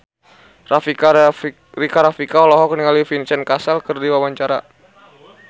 Rika Rafika olohok ningali Vincent Cassel keur diwawancara